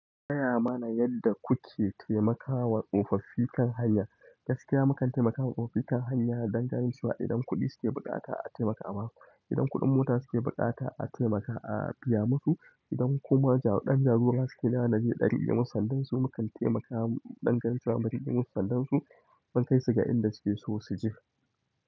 Gaya mana yadda kuke taimakawa tsofaffi kan hanya? Gaskiya mukan taimakawa tsofaffi kan hanya dangantacewa, idan kuɗi suke bukata a taimaka ama su, idan kuɗin mota suke bukata a taimakawa a biya musu, idan kuma ɗan jagora suke nema naje na rike musu, sanda su mukan taimakawa ɗan gansu zamu rike musu sanda su, zan kaisu ga inda suke so su je.